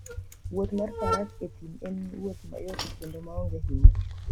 Wuoth mar Faras e thim en wuoth mayot kendo maonge hinyruok.